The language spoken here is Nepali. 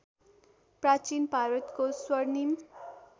प्राचीन भारतको स्वर्णिम